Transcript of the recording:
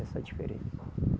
Essa é a diferença.